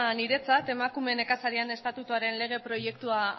niretzat emakume nekazarien estatutuaren lege proiektua